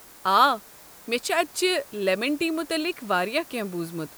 آ، مےٚ چھُ اتہِ چہِ لٮ۪من ٹی متعلق واریاہ کٮ۪نٛہہ بوٗزمُت۔